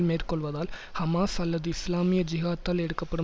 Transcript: மேற்கொள்வதால் Hamas அல்லது இஸ்லாமிய ஜிஹாத்தால் எடுக்கப்படும்